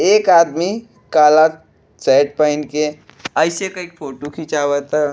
एक आदमी काला शर्ट पहीन के ऐसे करके फोटो खिचावत है।